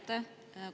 Aitäh!